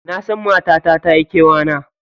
Nasan matata tayi kewa na.